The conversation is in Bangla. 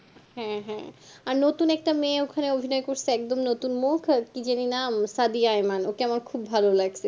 হ্যাঁ হ্যাঁ আর নতুন একটা মেয়ে ওখানে অভিনয় করছে একদম নতুন মুখ কি যেন নাম সাদিয়ায় ইমান ওকে আমার কলহুব ভালো লাগছে